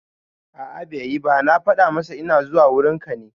A'a bai yi ba, na fada masa ina zuwa wurin ka ne